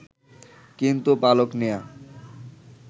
কিন্তু পালক নেয়া